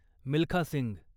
Milkha Singh